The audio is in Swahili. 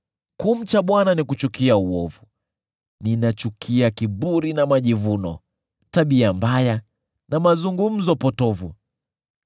Kumcha Bwana ni kuchukia uovu; ninachukia kiburi na majivuno, tabia mbaya na mazungumzo potovu.